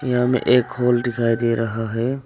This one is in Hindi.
यहाँ मे एक हॉल दिखाई दे रहा है।